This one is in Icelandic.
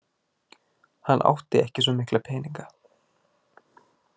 Hann átti ekki svo mikla peninga.